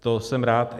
To jsem rád.